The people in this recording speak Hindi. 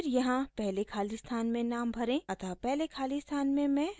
अतः पहले खाली स्थान में मैं राधा तिवारी भरूँगी